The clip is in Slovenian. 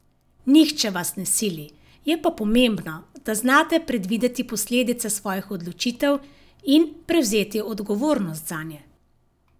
Nihče vas ne sili, je pa pomembno, da znate predvideti posledice svojih odločitev in prevzeti odgovornost zanje.